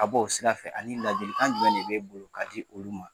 A b'o sira fɛ ani ladili kan jumɛn de b'e bolo ka di olu ma.